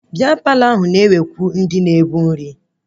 Bịa Palọ ahụ na-ewe ndị na-ebu nri